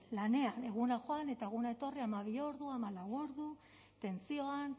lanean egunak joan eta egunak etorri hamabi ordu hamalau ordu tentsioan